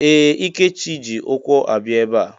Ee! Ikechi ji ụkwụ abịa ebe a.